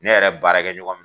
Ne yɛrɛ baara kɛ ɲɔgɔn